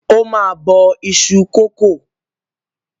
Ó máa bọ iṣu kòkó.